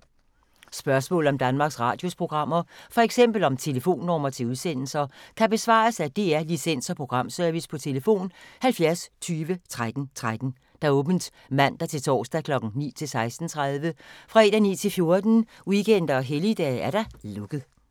Spørgsmål om Danmarks Radios programmer, f.eks. om telefonnumre til udsendelser, kan besvares af DR Licens- og Programservice: tlf. 70 20 13 13, åbent mandag-torsdag 9.00-16.30, fredag 9.00-14.00, weekender og helligdage: lukket.